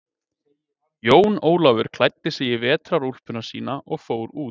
Jón Ólafur klæddi sig í vetrarúlpuna sína og fór út.